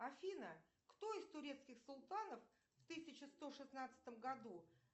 афина кто из турецких султанов в тысяча сто шестнадцатом году